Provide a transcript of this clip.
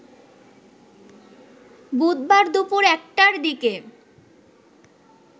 বুধবার দুপুর ১টার দিকে